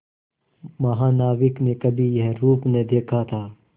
महानाविक ने कभी यह रूप न देखा था